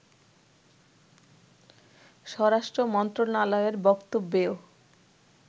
স্বরাষ্ট্র মন্ত্রণালয়ের বক্তব্যেও